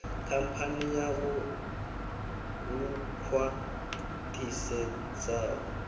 khamphani yavho lu khwa ṱhisedzaho